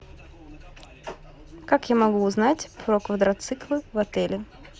как я могу узнать про квадроциклы в отеле